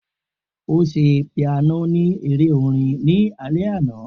O ṣe piano ni ere orin ni alẹ ana